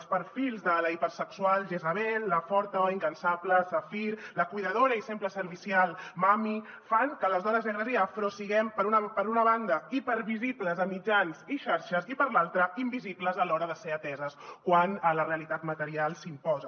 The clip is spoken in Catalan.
els perfils de la hipersexual jezzabel la forta o incansable shappire la cuidadora i sempre servicial mommy fan que les dones negres i afro siguem per una banda hipervisibles a mitjans i xarxes i per l’altra invisibles a l’hora de ser ateses quan la realitat material s’imposa